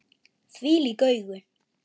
Þvílík augu!